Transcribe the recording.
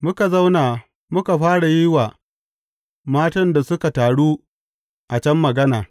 Muka zauna muka fara yin wa matan da suka taru a can magana.